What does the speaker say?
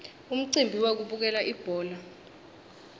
umcimbi wekubukela ibhola